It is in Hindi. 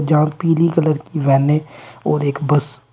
जहां पीली कलर की वैन है और एक बस।